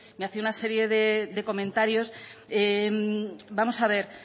me hacía una serie de comentarios vamos a ver